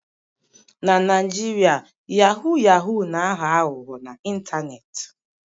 Na Naijiria yahoo yahoo na-aghọ aghụghọ n'ịntanetị.